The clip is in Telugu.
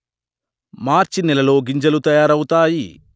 మార్చి నెలలో గింజలు తయారవుతాయి